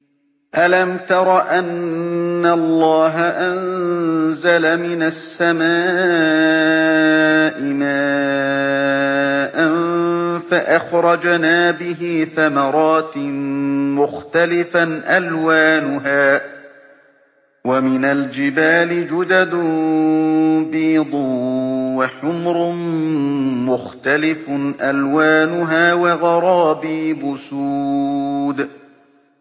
أَلَمْ تَرَ أَنَّ اللَّهَ أَنزَلَ مِنَ السَّمَاءِ مَاءً فَأَخْرَجْنَا بِهِ ثَمَرَاتٍ مُّخْتَلِفًا أَلْوَانُهَا ۚ وَمِنَ الْجِبَالِ جُدَدٌ بِيضٌ وَحُمْرٌ مُّخْتَلِفٌ أَلْوَانُهَا وَغَرَابِيبُ سُودٌ